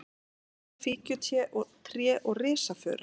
pálmar, fíkjutré og risafura.